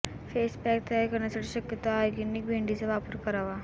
face pack तयार करण्यासाठी शक्यतो ऑर्गेनिक भेंडीचा वापर करावा